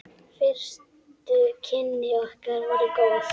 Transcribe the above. Fyrstu kynni okkar voru góð.